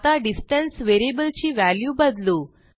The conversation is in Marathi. आता डिस्टन्स व्हेरिएबलची व्हॅल्यू बदलू